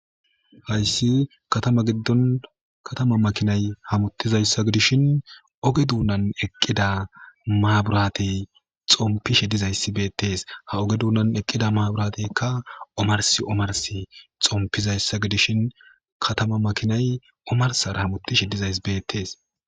Haysi katama giddon katama makinay hamutizayssa gidishin ooge duunnan eeqida maburatey xonpishe diizayssi beetes ha ooge duunnan eeqida maburateykka ommarssi ommarssi xompizayssa gidishin katama makinay ommarssara hamuttishe dizayssi beetes.